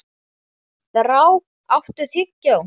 Þrá, áttu tyggjó?